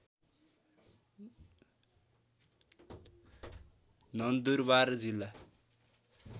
नन्दुरबार जिल्ला